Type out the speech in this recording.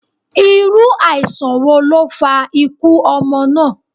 Iru aisan wo lo fa ikú ọmọ na?